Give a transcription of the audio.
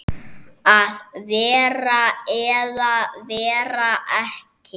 Að vera eða vera ekki.